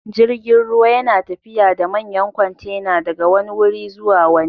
Jirgin ruwa yana tafiya da manyan kwantena daga wani wuri zuwa wani.